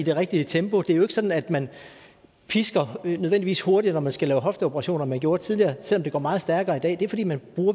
det rigtige tempo det er jo ikke sådan at man nødvendigvis løber hurtigere når man skal lave hofteoperationer end man gjorde tidligere selv om det går meget stærkere i dag det er fordi man